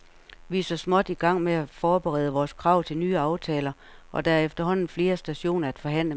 Vi er så småt igang med at forberede vores krav til nye aftaler, og der er efterhånden flere stationer at forhandle med.